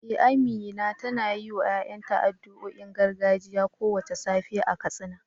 Eh, Amina tana yiwa ‘ya’yanta addu’o’in gargajiya kowace safiya a Katsina.